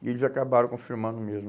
E eles acabaram confirmando mesmo.